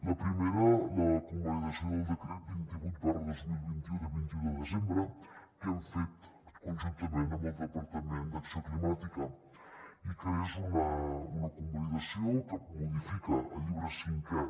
la primera la convalidació del decret vint vuit dos mil vint u de vint un de desembre que hem fet conjuntament amb el departament d’acció climàtica i que és una convalidació que modifica el llibre cinquè